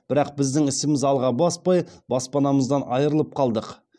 бірақ біздің ісіміз алға баспай баспанамыздан айырылып қалдық